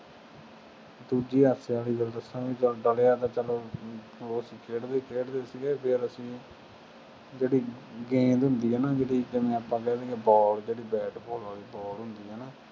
ਦੂਜੀ ਹਾਸੇ ਵਾਲੀ ਗੱਲ ਦੱਸਾਂ, ਚੱਲ ਡਲਿਆਂ ਤਾਂ ਚੱਲੋ ਅਸੀਂ ਖੇਡਦੇ ਖੇਡਦੇ ਹੀ ਸੀਗੇ, ਫੇਰ ਅਸੀਂ ਜਿਹੜੀ ਗੇਂਦ ਹੁੰਦੀ ਹੈ ਨਾ ਜਿਹੜੀ ਜਿਵੇਂ ਆਪਾਂ ਕਹਿ ਦੇਈਏ ball ਜਿਹੜੀ bat ball ਵਾਲੀ ball ਹੁੰਦੀ ਹੈ ਨਾ,